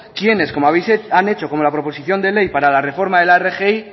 quienes como han hecho la proposición de ley para la reforman de la rgi